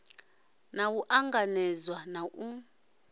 naa u ṱanganedzwa na u